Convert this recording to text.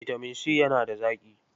Bitamin C yana da zaƙi.